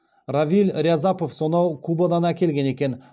равиль рязапов сонау кубадан әкелген екен